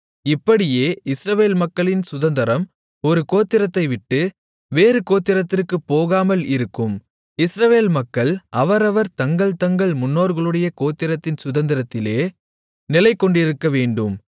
இப்படியே இஸ்ரவேல் மக்களின் சுதந்தரம் ஒரு கோத்திரத்தைவிட்டு வேறு கோத்திரத்திற்குப் போகாமல் இருக்கும் இஸ்ரவேல் மக்கள் அவரவர் தங்கள்தங்கள் முன்னோர்களுடைய கோத்திரத்தின் சுதந்தரத்திலே நிலைகொண்டிருக்கவேண்டும்